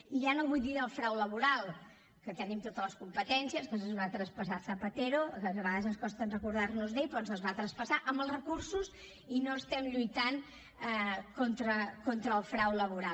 i ja no vull dir del frau laboral que en tenim totes les competències que ens les va traspassar zapatero que a vegades ens costa recordar nos d’ell però ens les va traspassar amb els recursos i no estem lluitant contra el frau laboral